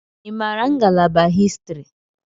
I maara ngalaba Histiri?